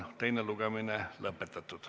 Teine lugemine on lõpetatud.